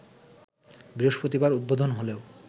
বৃহস্পতিবার উদ্বোধন হলেও